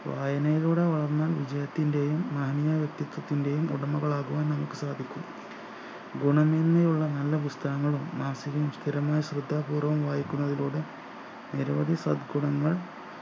വായനയിലൂടെ വളർന്ന വിജയത്തിൻ്റെയും മാന്യ വ്യക്തിത്വത്തിൻ്റെയും ഉടമകൾ ആകുവാൻ നമുക്ക് സാധിക്കും ഗുണമേന്മയുള്ള നല്ല പുസ്‌തകങ്ങളും മാസികയും സ്ഥിരമായി ശ്രദ്ധാപൂർവം വായിക്കുന്നതിലൂടെ നിരവധി സദ്ഗുണങ്ങൾ